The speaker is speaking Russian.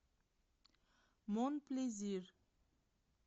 мон плезир